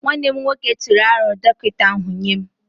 Nwanne m nwoke tụrụ aro dọkịta ahu nye m